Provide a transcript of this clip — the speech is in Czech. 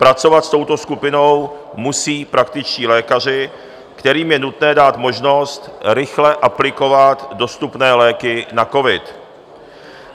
Pracovat s touto skupinou musí praktičtí lékaři, kterým je nutné dát možnost rychle aplikovat dostupné léky na covid.